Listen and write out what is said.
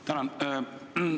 Tänan!